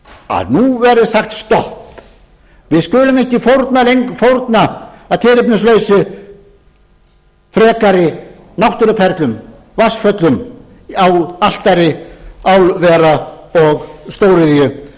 að nú verði sagt stopp við skulum ekki fórna að tilefnislausu frekari náttúruperlum vatnsföllum á altari álvera og stóriðju þessarar ríkisstjórnar eigum